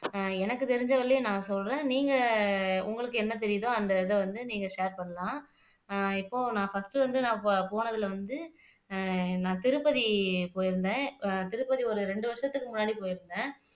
அஹ் எனக்கு தெரிஞ்சவரையிலும் நான் சொல்றேன் நீங்க உங்களுக்கு என்ன தெரியுதோ அந்த இதை வந்து நீங்க ஷேர் பண்ணலாம் அஹ் இப்போ நான் ஃபர்ஸ்ட் வந்து நான் இப்போ போனதுல வந்து அஹ் நான் திருப்பதி போயிருந்தேன் அஹ் திருப்பதி ஒரு ரெண்டு வருசத்துக்கு முன்னாடி போயிருந்தேன்